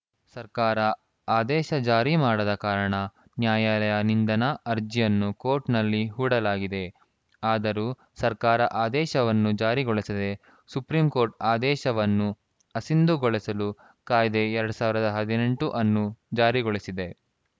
ಸರ್ಕಾರ ಆದೇಶ ಜಾರಿ ಮಾಡದ ಕಾರಣ ನ್ಯಾಯಾಲಯ ನಿಂದನಾ ಅರ್ಜಿಯನ್ನು ಕೋರ್ಟ್‌ನಲ್ಲಿ ಹೂಡಲಾಗಿದೆ ಆದರೂ ಸರ್ಕಾರ ಆದೇಶವನ್ನು ಜಾರಿಗೊಳಿಸದೇ ಸುಪ್ರೀಂಕೋರ್ಟ್‌ ಆದೇಶವನ್ನು ಅಸಿಂಧುಗೊಳಿಸಲು ಕಾಯ್ದೆ ಎರಡ್ ಸಾವಿರದ ಹದಿನೆಂಟು ಅನ್ನು ಜಾರಿಗೊಳಿಸಿದೆ